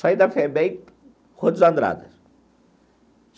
Saí da FEBEM.